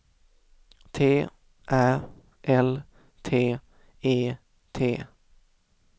T Ä L T E T